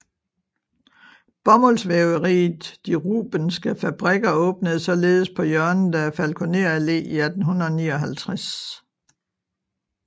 Bomuldsvæveriet De Rubenske Fabrikker åbnede således på hjørnet af Falkoner Allé i 1859